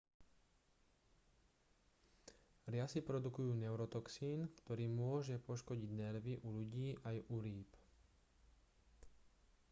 riasy produkujú neurotoxín ktorý môže poškodiť nervy u ľudí aj u rýb